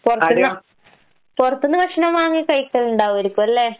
പൊറത്ത്ന്ന് പൊറത്ത്ന്ന് ഭക്ഷണം വാങ്ങിക്കഴിക്കലിണ്ടാവായിരിക്കല്ലേ?